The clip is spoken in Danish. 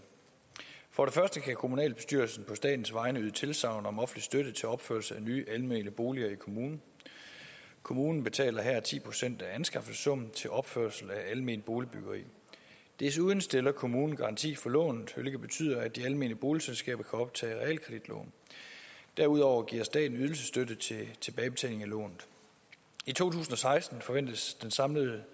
for det første kan kommunalbestyrelsen på statens vegne give tilsagn om offentlig støtte til opførelse af nye almene boliger i kommunen kommunen betaler her ti procent af anskaffelsessummen til opførsel af alment boligbyggeri desuden stiller kommunen garanti for lånet hvilket betyder at de almene boligselskaber kan optage realkreditlån derudover giver staten ydelsesstøtte til tilbagebetaling af lånet i to tusind og seksten forventes den samlede